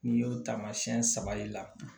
N'i y'o taamasiyɛn saba y'i la